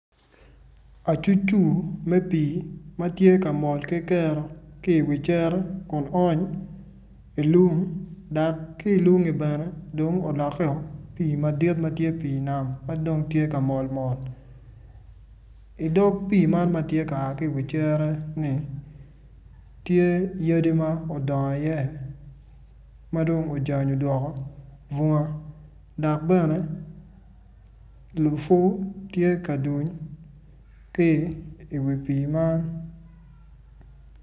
Acucur me pii ma tye ka mol ki kero ki iwi cere kun ony ilung dok ki ilungi bene dong olokkeo pii madit ma tye pii nam ma dong tye ka mol mot idog pii man ma tye ka mol ki iwi cere-ni, tye yadi ma odongo iye ma dong ojany odoko bunga dok bene lupwu tye ka duny ki iwi pii man.